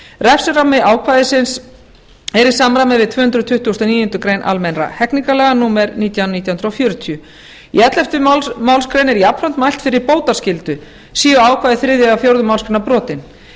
refsirammi ákvæðisins er í samræmi við tvö hundruð tuttugustu og níundu grein almennra hegningarlaga númer nítján nítján hundruð fjörutíu í ellefta málsgrein er jafnframt mælt fyrir bótaskyldu séu ákvæði þriðju eða fjórðu málsgrein brotin